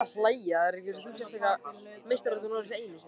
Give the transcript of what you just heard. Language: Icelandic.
Svona pappír hlaut að vera dýr.